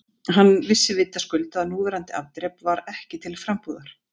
Hann vissi vitaskuld að núverandi afdrep var ekki til frambúðar.